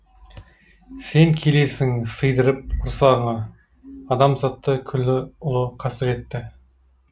сен келесің сыйдырып құрсағыңа адамзатты күллі ұлы қасіретті